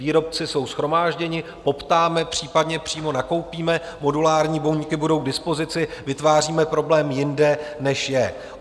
Výrobci jsou shromážděni, poptáme, případně přímo nakoupíme, modulární buňky budou k dispozici, vytváříme problém jinde, než je.